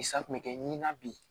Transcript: Sa kun bɛ kɛ nin na bi